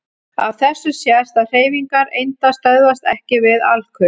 Af þessu sést að hreyfingar einda stöðvast EKKI við alkul.